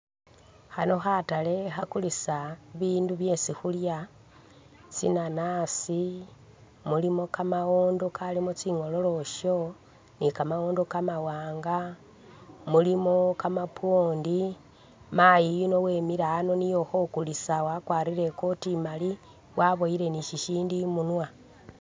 Khano khatale khakulisa bi bindu byesi khulya, tsi nanasi, mulimo kamawondo kalimo tsinghololosyo ni ka mawondo kamawanga mulimo ka mapondi, mayi yuno wemile ano niye ukho kulisa wakwarire i coti imali waboyile ni shishindu imunwa.